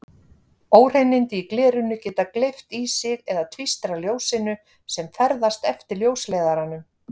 Óhreinindi í glerinu geta gleypt í sig eða tvístrað ljósinu sem ferðast eftir ljósleiðaranum.